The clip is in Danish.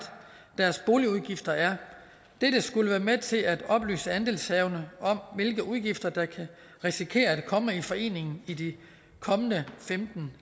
deres boligudgifter er det skulle være med til at oplyse andelshaverne om hvilke udgifter der kan risikere at komme i foreningen i de kommende femten